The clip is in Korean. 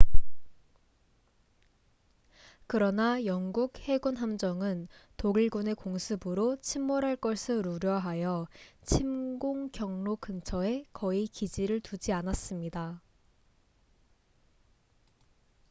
그러나 영국 해군 함정은 독일군의 공습으로 침몰할 것을 우려하여 침공 경로 근처에 거의 기지를 두지 않았습니다